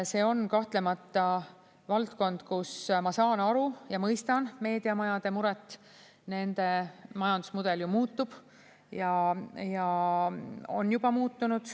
See on kahtlemata valdkond, kus ma saan aru ja mõistan meediamajade muret, sest nende majandusmudel ju muutub ja on juba muutunud.